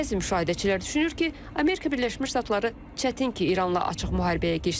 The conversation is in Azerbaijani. Bəzi müşahidəçilər düşünür ki, Amerika Birləşmiş Ştatları çətin ki, İranla açıq müharibəyə girişsin.